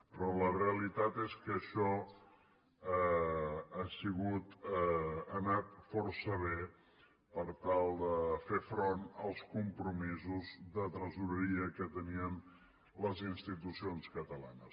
però la realitat és que això ha anat força bé per tal de fer front als compromisos de tresoreria que tenien les institucions catalanes